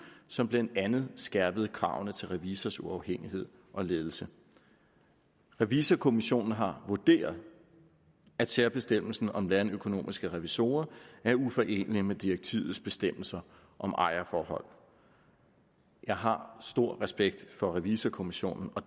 som blandt andet skærpede kravene til revisors uafhængighed og ledelse revisorkommissionen har vurderet at særbestemmelsen om landøkonomiske revisorer er uforenelig med direktivets bestemmelser om ejerforhold jeg har stor respekt for revisorkommissionen og